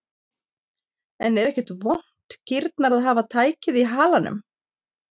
En er ekkert vont kýrnar að hafa tækið á halanum?